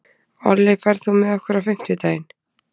Olli, ferð þú með okkur á fimmtudaginn?